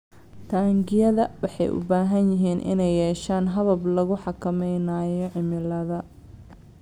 Taangiyada waxay u baahan yihiin inay yeeshaan habab lagu xakameynayo cimilada